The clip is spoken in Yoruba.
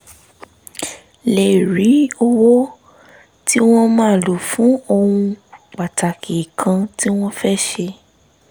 lè rí owó tí wọ́n máa lò fún ohun pàtàkì kan tí wọ́n fẹ́ ṣe